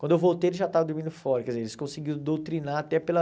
Quando eu voltei ele já estava dormindo fora, quer dizer, eles conseguiram doutrinar até pela...